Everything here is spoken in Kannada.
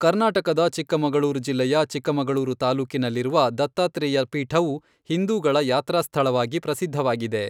ಕರ್ನಾಟಕದ ಚಿಕ್ಕಮಗಳೂರು ಜಿಲ್ಲೆಯ ಚಿಕ್ಕಮಗಳೂರು ತಾಲ್ಲೂಕಿನಲ್ಲಿರುವ ದತ್ತಾತ್ರೇಯ ಪೀಠವು ಹಿಂದೂಗಳ ಯಾತ್ರಾಸ್ಥಳವಾಗಿ ಪ್ರಸಿದ್ಧವಾಗಿದೆ.